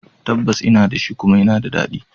Tabbas ina da shi, kuma yana da daɗi